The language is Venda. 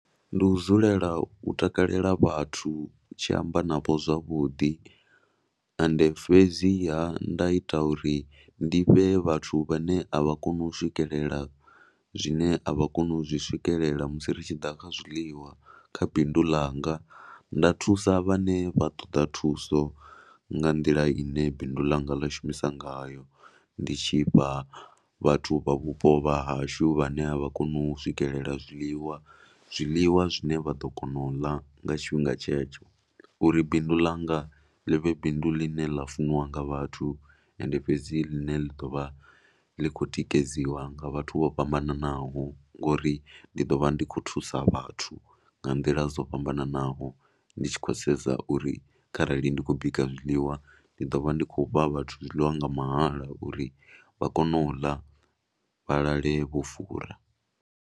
Ndi u dzulela u takalela vhathu, u tshi amba navho zwavhuḓi. Ende fhedziha nda ita uri ndi vhee vhathu vhane a vha koni u swikelela zwine a vha koni u zwi swikelela musi ri tshi ḓa kha zwiḽiwa kha bindu ḽanga. Nda thusa vhane vha ṱoḓa thuso nga nḓila ine bindu ḽanga ḽa shumisa ngayo. Ndi tshi fha vhathu vha vhupo vha hashu vhane a vha koni u swikelela zwiḽiwa, zwiḽiwa zwine vha ḓo kona u ḽa nga tshifhinga tshetsho uri bindu ḽanga ḽi vhe bindu ḽine ḽa funiwa nga vhathu. Ende fhedzi ḽane ḽi ḓo vha ḽi khou tikedziwa nga vhathu vho fhambananaho uri ndi ḓo vha ndi khou thusa vhathu nga nḓila dzo fhambananaho. Ndi tshi khou sedza uri kharali ndi khou bika zwiḽiwa, ndi ḓo vha ndi tshi khou fha vhathu zwiḽiwa nga mahala uri vha kone u ḽa, vha lale vho fura.